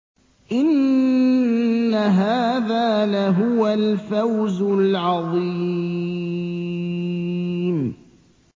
إِنَّ هَٰذَا لَهُوَ الْفَوْزُ الْعَظِيمُ